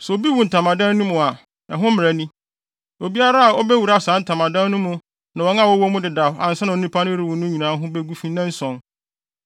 “Sɛ obi wu wɔ ntamadan mu a, ɛho mmara ni: Obiara a obewura saa ntamadan no mu ne wɔn a wɔwɔ mu dedaw ansa na onipa no rewu no nyinaa ho begu fi nnanson,